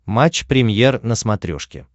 матч премьер на смотрешке